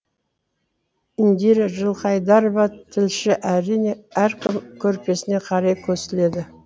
индира жылқайдарова тілші әрине әркім көрпесіне қарай көсіледі